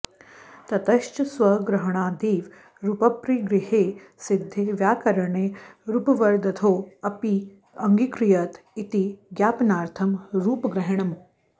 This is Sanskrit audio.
ततश्च स्वग्रहणादेव रूपपरिग्रहे सिद्धे व्याकरणे रूपवदर्थोऽप्यङ्गीक्रियत इति ज्ञापनार्थं रूपग्रहणम्